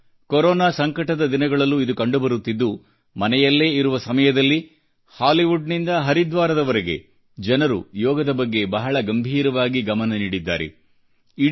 ಈಗ ಕೊರೋನಾ ಸಂಕಟದ ದಿನಗಳಲ್ಲೂ ಇದು ಕಂಡುಬರುತ್ತಿದ್ದು ಮನೆಯಲ್ಲೇ ಇರುವ ಸಮಯದಲ್ಲಿ ಹಾಲಿವುಡ್ ನಿಂದ ಹರಿದ್ವಾರದವರೆಗೆ ಜನರು ಯೋಗದ ಬಗ್ಗೆ ಬಹಳ ಗಂಭೀರವಾಗಿ ಗಮನ ನೀಡಿದ್ದಾರೆ